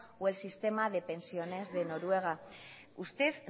o el sistema de pensiones de noruega usted